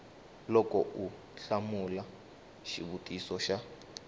loko u hlamula xivutiso xa